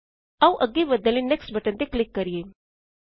ਆਓ ਅੱਗੇ ਵਧਣ ਲਈ ਨੈਕਸਟ ਬਟਨ ਤੇ ਕਲਿਕ ਕਰਿਏ